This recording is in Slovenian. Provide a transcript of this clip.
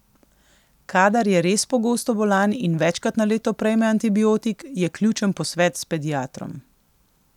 Kadar je res pogosto bolan in večkrat na leto prejme antibiotik, je ključen posvet s pediatrom.